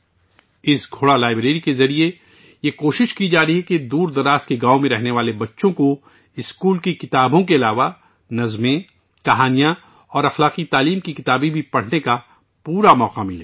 اس گھوڑا لائبریری کے ذریعے یہ کوشش کی جا رہی ہے کہ دور دراز دیہاتوں میں رہنے والے بچوں کو اسکول کی کتابوں کے علاوہ نظمیں، کہانیاں اور اخلاقی تعلیم پر مبنی کتابیں پڑھنے کا پورا موقع ملے